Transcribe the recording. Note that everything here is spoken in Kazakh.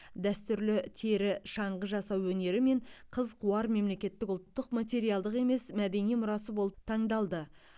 дәстүрлі тері шаңғы жасау өнері мен қыз қуар мемлекеттің ұлттық материалдық емес мәдени мұрасы болып таңдалды